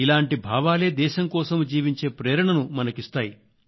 ఇలాంటి భావాలే దేశం కోసం జీవించే ప్రేరణను మనకిస్తాయి